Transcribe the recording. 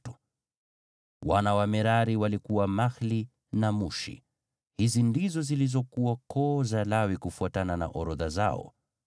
Wana wa Merari walikuwa Mahli na Mushi. Hizi ndizo zilizokuwa koo za Lawi kufuatana na orodha zao.